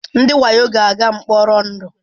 Ndị wayo ga-aga mkpọrọ ndụ.